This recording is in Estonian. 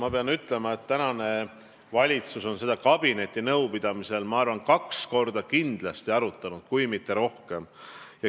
Ma pean ütlema, et praegune valitsus on seda kabineti nõupidamisel kindlasti kaks korda arutanud, kui mitte rohkem.